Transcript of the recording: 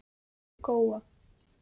Góa